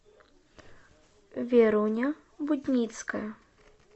веруня будницкая